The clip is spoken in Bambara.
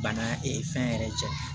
Bana fɛn yɛrɛ cɛ